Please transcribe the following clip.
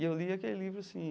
E eu li aquele livro, assim,